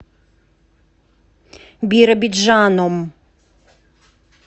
биробиджаном